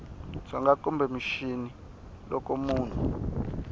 dzonga kumbe mixini loko munhu